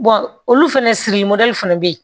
olu fɛnɛ siri fana bɛ yen